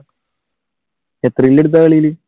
എത്ര kill എടുത്തു ആ കളിയിൽ?